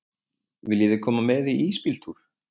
Viljiði koma með í ísbíltúr?